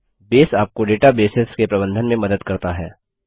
base आपको databases के प्रबंधन में मदद करता है